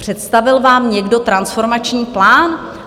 Představil vám někdo transformační plán?